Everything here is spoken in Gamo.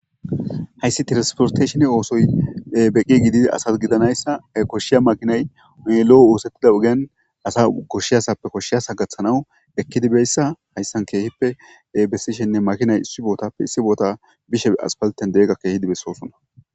Hayssi transporeshinne maakinay asasi beqi gididi koshiza maakinay woollo oosettida oogan asa koshiyasappe koshshiyaso gaththanaw ekidii bizayssa hayssan keehippe besishenne makinay issi bottappe issi botta ekidii bishe aspaltenneeqidoga besossona